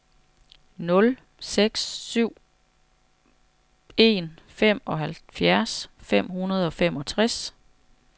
nul seks syv en femoghalvfjerds fem hundrede og femogtres